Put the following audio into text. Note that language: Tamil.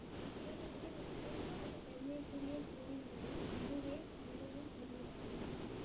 பீஜிங்கில் உள்ள நான்கு பெருமைக்குரிய கோவில்களின் இதுவே மிகவும் பெரியதாகும்